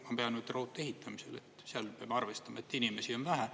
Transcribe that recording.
Ma pean nüüd raudtee ehitamisel, seal peame arvestama, et inimesi on vähe.